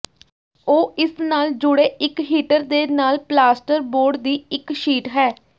ਉਹ ਇਸ ਨਾਲ ਜੁੜੇ ਇਕ ਹੀਟਰ ਦੇ ਨਾਲ ਪਲਾਸਟਰ ਬੋਰਡ ਦੀ ਇਕ ਸ਼ੀਟ ਹੈ